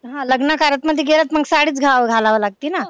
हा लग्न कार्यात मध्ये गेलं मग साडीच घाला घालावी लागते ना.